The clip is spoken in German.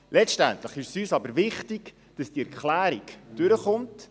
Letztendlich ist es uns jedoch wichtig, dass diese Erklärung durchkommt.